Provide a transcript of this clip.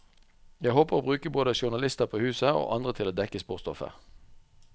Jeg håper å bruke både journalister på huset, og andre til å dekke sportsstoffet.